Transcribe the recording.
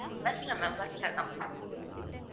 bus ல ma'am bus லதான்